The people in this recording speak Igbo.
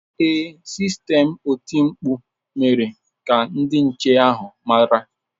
Ee, sistemụ oti mkpu mere ka ndị nche ahụ mara.